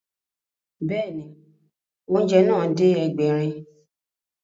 Bẹ́ẹ̀ni, oúnjẹ náà dé Ẹgbẹ̀rin